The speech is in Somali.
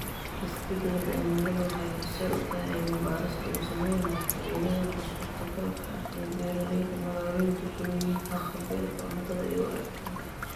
Isbeddelka cimiladu waxay horseed u tahay cilmi-baadhis lagu samaynayo faa'iidooyinka suurtagalka ah ee beeralayda magaalooyinku u leeyihiin haqab-beelka cuntada iyo waaritaanka.